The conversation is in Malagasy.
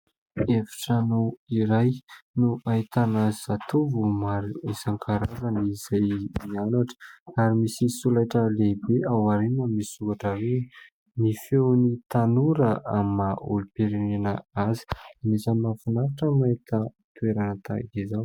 Efi-trano iray no ahitana zatovo maro isan-karazany izay mianatra ary misy solaitra lehibe aorianany misy soratra hoe ny feon'ny tanora amin'ny maha olom-pirenena azy. Anisan'ny mahafinaritra ny mahita toerana tahaka izao.